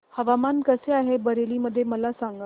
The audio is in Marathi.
हवामान कसे आहे बरेली मध्ये मला सांगा